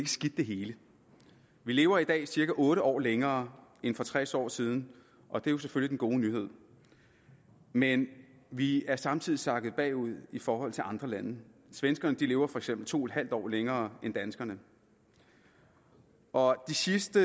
skidt det hele vi lever i dag cirka otte år længere end for tres år siden og det er selvfølgelig den gode nyhed men vi er samtidig sakket bagud i forhold til andre lande svenskerne lever for eksempel to en halv år længere end danskerne og de sidste